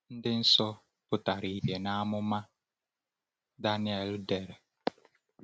Ndị nsọ pụtara ìhè n’amụma Daniel dere.